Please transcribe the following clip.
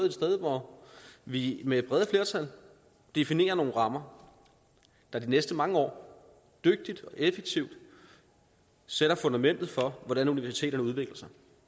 et sted hvor vi med brede flertal definerer nogle rammer der de næste mange år dygtigt og effektivt sætter fundamentet for hvordan universiteterne udvikler sig